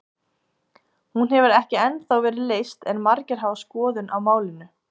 Hún hefur ekki ennþá verið leyst en margir hafa skoðun á málinu.